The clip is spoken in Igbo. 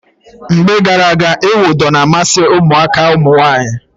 Mgbe gara aga, ịwụ ụdọ na-amasị ụmụaka ụmụnwaanyị.